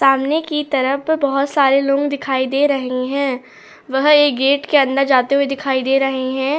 सामने की तरफ बहुत सारे लोग दिखाई दे रहे हैं वह एक गेट के अंदर जाते हुए दिखाई दे रहे हैं।